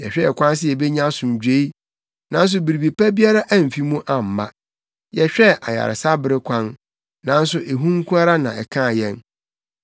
Yɛhwɛɛ kwan sɛ yebenya asomdwoe nanso biribi pa biara amfi mu amma, yɛhwɛɛ ayaresabere kwan nanso ehu nko ara na ɛkaa yɛn.